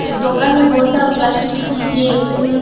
एक दोकान मे बहोत सारा प्लास्टिक की चीजे फुल--